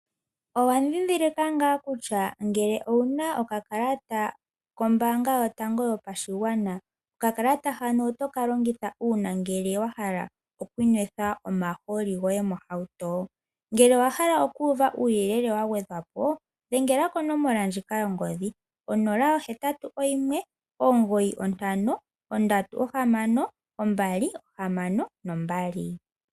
Owa dhidhilika ngaa kutya ngele owuna okakalata kombaanga yotango yopashigwana, okakalata hano otoka longitha uuna ngele wahala oku nwetha omahooli goye mohauto? Ngele owahala okuuva uuyelele wagwedhwapo dhengela konomola ndjika yongodhi 0819536262.